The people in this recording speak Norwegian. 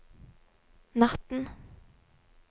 natten